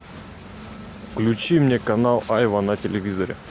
включи мне канал айва на телевизоре